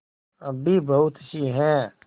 अभी बहुतसी हैं